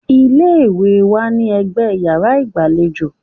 Ilé-ìwẹ̀ wà ní ẹgbẹ́ yàrá ìgbàlejò